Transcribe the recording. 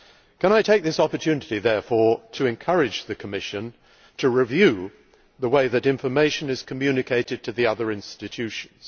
Can I take this opportunity, therefore, to encourage the Commission to review the way that information is communicated to the other institutions?